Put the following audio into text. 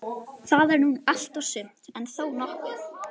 Það er nú allt og sumt, en þó nokkuð.